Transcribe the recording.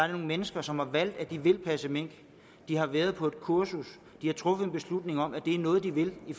nogle mennesker som har valgt at de vil passe mink de har været på et kursus de har truffet en beslutning om at det er noget de vil i